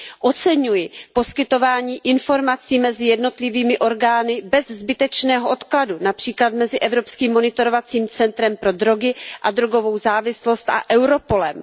Oceňuji poskytování informací mezi jednotlivými orgány bez zbytečného odkladu, například mezi Evropským monitorovacím centrem pro drogy a drogovou závislost a Europolem.